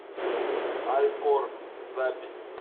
алькор запись